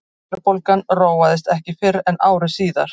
verðbólgan róaðist ekki fyrr en ári síðar